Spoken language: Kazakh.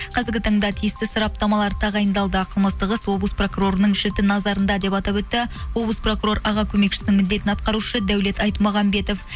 қазіргі таңда тиісті сараптамалар тағайындалды ал қылмыстық іс облыс прокурорының жіті назарында деп атап өтті облыс прокурор аға көмекшісінің міндетін атқарушы дәулет айтмағанбетов